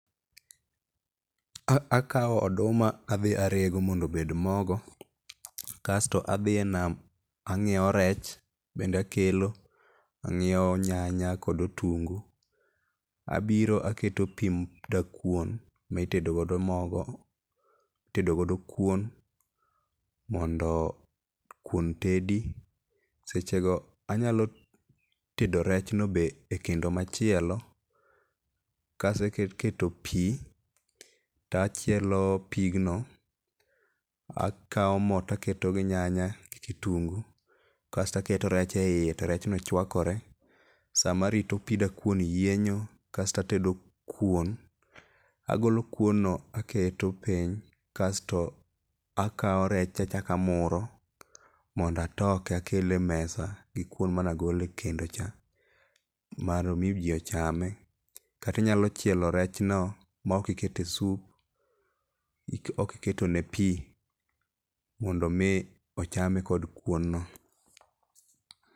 Akawo oduma adhi arego mondo obed mogo, kasto adhi e nam, ang'iewo rech bende akelo, ang'iewo nyanya kod otungu. Abiro aketo pi dakuon mitedo godo mogo, itedo godo kuon, mondo kuon tedi seche go anyalo tedo rechno be ekendo machielo. Kaseketo pi to achielo pigno. Akawo mo taketo gi nyanya gi kitunguu kasto aketo rech eiye to rechno chuakore. Sama arito pi dakuon yienyo kasto atedo kuon. Agolo kuon no aketo piny kasto akawo rech to achako amuro mondo atoke akele e mesa gi kuon mane agolo e kendo cha, mondo mi ji ochame. Kata inyalo chielo rechno maok ikete soup maok iketone pi mondo mmi ochame kod kuon no.